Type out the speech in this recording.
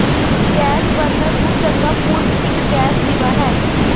gas burner ਨੂੰ ਚੰਗਾ ਪੂਰਕ ਇੱਕ ਗੈਸ ਦੀਵਾ ਹੈ